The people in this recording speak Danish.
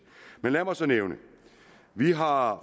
men lad mig så nævne at vi har